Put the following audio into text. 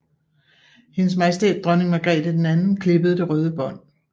HM Dronning Margrethe II klippede det røde bånd